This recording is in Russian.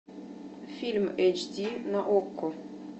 фильм эйч ди на окко